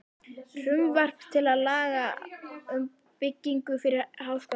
Frumvarp til laga um byggingu fyrir Háskóla Íslands, frá